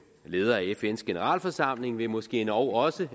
ledere af fns generalforsamling vil måske endog også